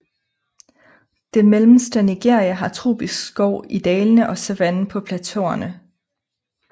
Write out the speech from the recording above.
Det mellemste Nigeria har tropisk skov i dalene og savanne på plateauerne